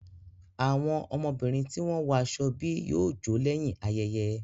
Àwọn ọmọbìnrin ti wọn wo aṣọ ebi yóò jo lẹ́yìn ayẹyẹ